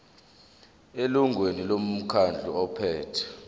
elungwini lomkhandlu ophethe